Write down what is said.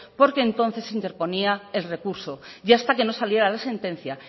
porque entonces se interponía el recurso y hasta que no saliera la sentencia